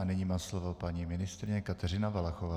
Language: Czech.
A nyní má slovo paní ministryně Kateřina Valachová.